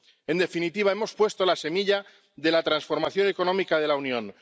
En definitiva, hemos puesto la semilla de la transformación económica de la Unión.